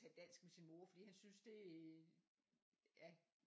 Tale dansk med sin mor fordi han synes det er ja